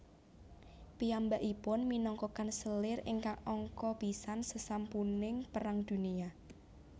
Piyambakipun minangka kanselir ingkang angka pisan sasampuning Perang Dunia